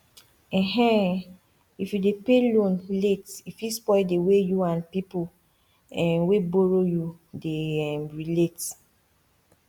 um if you dey pay loan late e fit spoil the way you and people um wey borrow you dey um relate